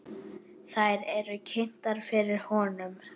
Þær eru kynntar fyrir honum.